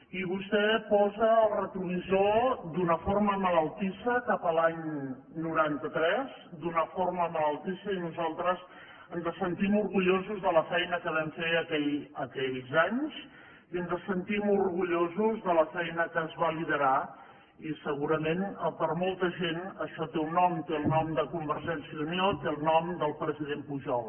i vostè posa el retrovisor d’una forma malaltissa cap a l’any noranta tres d’una forma malaltissa i nosaltres ens sentim orgullosos de la feina que vam fer aquells anys i ens sentim orgullosos de la feina que es va liderar i segurament per a molta gent això té un nom té el nom de convergència i unió té el nom del president pujol